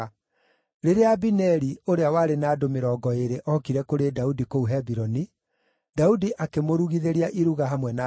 Rĩrĩa Abineri, ũrĩa warĩ na andũ mĩrongo ĩĩrĩ ookire kũrĩ Daudi kũu Hebironi, Daudi akĩmũrugithĩria iruga hamwe na andũ ake.